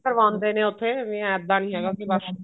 ਕਰਵਾਉਂਦੇ ਨੇ ਉੱਥੇ ਵੀ ਇੱਦਾਂ ਨਹੀਂ ਹੈਗਾ ਬੱਸ